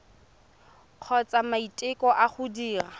kgotsa maiteko a go dira